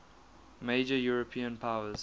major european powers